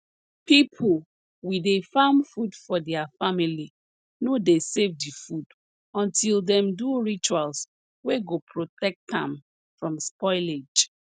pipo we dey farm food for dia family no dey save di food until dem do rituals wey go protect am from spoilage